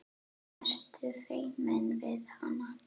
Ertu feiminn við hana?